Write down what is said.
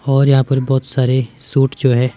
और यहां पर बहुत सारे सूट जो है।